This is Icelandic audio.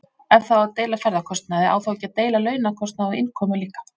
Ef það á að deila ferðakostnaði á þá ekki að deila launakostnaði og innkomu líka?